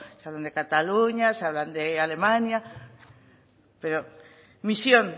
si hablan de cataluña si hablan de alemania misión